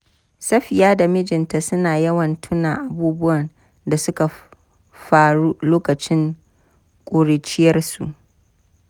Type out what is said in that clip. Safiyya da mijinta suna yawan tuna abubuwan da suka faru lokacin ƙuruciyarsu.